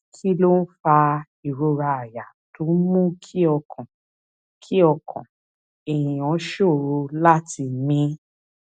kí ló ń fa ìrora àyà tó ń mú kí ọkàn kí ọkàn èèyàn ṣòro láti mí